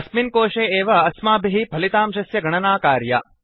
अस्मिन् कोशे एव अस्मभिः फलितांशस्य गणना कार्या